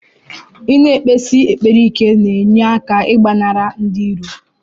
Ina ekpesi ekpere ike na enye aka igbanari ndi iro.